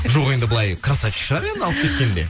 жоқ енді былай красавчик шығар енді алып кеткенде